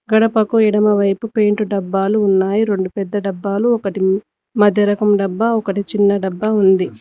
గడపకు ఎడమవైపు పెయింట్ డబ్బాలు ఉన్నాయి రెండు పెద్ద డబ్బాలు ఒకటి మధ్య రకం డబ్బా ఒకటి చిన్న డబ్బా ఉంది